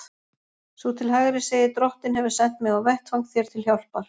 Sú til hægri segir: Drottinn hefur sent mig á vettvang þér til hjálpar.